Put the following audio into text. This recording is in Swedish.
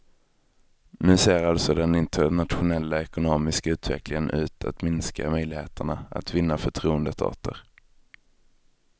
Nu ser alltså den internationella ekonomiska utvecklingen ut att minska möjligheterna att vinna förtroendet åter.